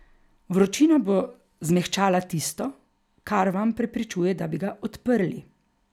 Vročina bo zmehčala tisto, kar vam preprečuje, da bi ga odprli.